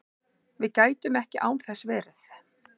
Við gætum ekki án þess verið